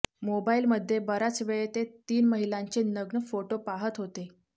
मोबाईलमध्ये बराच वेळ ते तीन महिलांचे नग्न फोटो पाहत होते